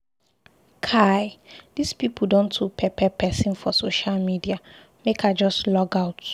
Kai dis pipu don too pepper pesin for social media make I just logout.